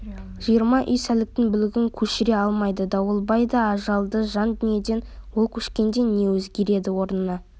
жиырма үй сәліктің бүлігін көшіре алмайды дауылбай да ажалды жан дүниеден ол көшкенде не өзгереді орнына